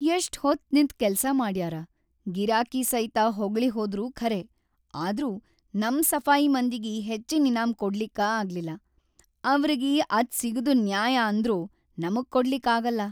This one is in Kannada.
ಎಷ್ಟಹೊತ್ತ್‌ ನಿಂತ್‌ ಕೆಲ್ಸಾ ಮಾಡ್ಯಾರ, ಗಿರಾಕಿ ಸೈತ ಹೊಗಳಿಹೋದ್ರು ಖರೇ, ಆದ್ರೂ ನಮ್ ಸಫಾಯಿ ಮಂದಿಗಿ ಹೆಚ್ಚಿನ್‌ ಇನಾಮ್‌ ಕೊಡ್ಲಿಕ್ಕ ಆಗಿಲ್ಲ, ಅವ್ರಗಿ ಅದ್ ಸಿಗದು ನ್ಯಾಯ ಅಂದ್ರೂ ನಮಗ್ ಕೊಡ್ಲಿಕ್‌ ಆಗಲ್ಲಾ.